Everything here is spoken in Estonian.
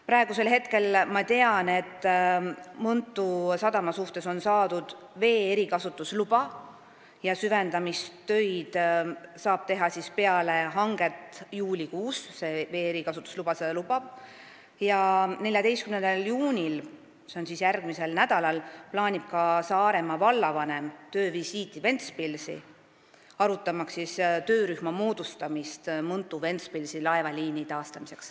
Praeguseks ma tean, et Mõntu sadama suhtes on saadud vee erikasutusluba, süvendamistöid saab teha peale hanget, juulikuus, ja 14. juunil, st järgmisel nädalal plaanib ka Saaremaa vallavanem töövisiiti Ventspilsi, et arutada töörühma moodustamist Mõntu–Ventspilsi laevaliini taastamiseks.